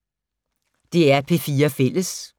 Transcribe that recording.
DR P4 Fælles